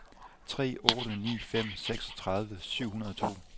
tre otte ni fem seksogtredive syv hundrede og to